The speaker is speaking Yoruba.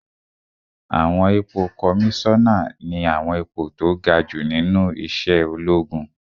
Àwọn ipò kọmísánà ní àwọn ipò tó ga jù nínú iṣẹ́ ológun